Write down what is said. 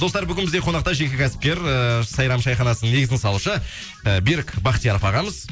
достар бүгін бізде қонақта жеке кәсіпкер ііі сайрам шайханасының негізін салушы ы берік бахтияров ағамыз